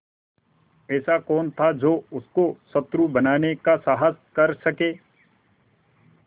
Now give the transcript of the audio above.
ऐसा कौन था जो उसको शत्रु बनाने का साहस कर सके